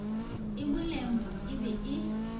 e molemo e be e